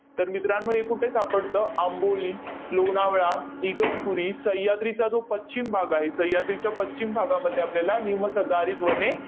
तर मित्रांनो, हे कुठे सापडतं? आंबोली, लोणावळा, इगतपुरी, सह्याद्रीचा जो पश्चिम भाग आहे, सह्याद्रीच्या पश्चिम भागामध्ये आपल्याला निमसदाहरित वने